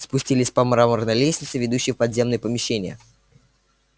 спустились по мраморной лестнице ведущей в подземные помещения